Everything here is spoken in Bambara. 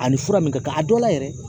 A ni fura min ka kan a dɔw la yɛrɛ.